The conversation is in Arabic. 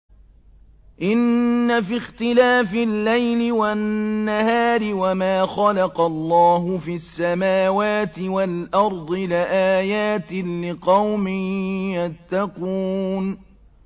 إِنَّ فِي اخْتِلَافِ اللَّيْلِ وَالنَّهَارِ وَمَا خَلَقَ اللَّهُ فِي السَّمَاوَاتِ وَالْأَرْضِ لَآيَاتٍ لِّقَوْمٍ يَتَّقُونَ